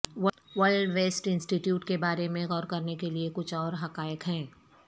world waste institute کے بارے میں غور کرنے کے لئے کچھ اور حقائق ہیں